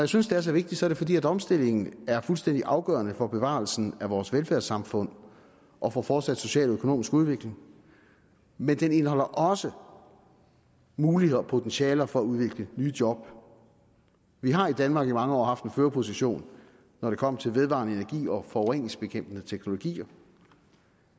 synes det er så vigtigt er det fordi omstillingen er fuldstændig afgørende for bevarelsen af vores velfærdssamfund og for fortsat social og økonomisk udvikling men den indeholder også muligheder og potentialer for at udvikle nye job vi har i danmark i mange år haft en førerposition når det kommer til vedvarende energi og forureningsbekæmpende teknologier